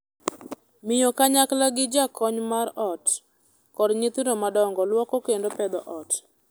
Miyo kanyakla gi jakony mar joot, kod nyithindo madongo luoko kendo pedho ot.